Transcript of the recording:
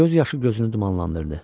Göz yaşı gözünü dumanlandırdı.